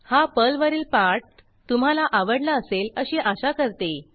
हा पर्लवरील पाठ तुम्हाला आवडला असेल अशी आशा करते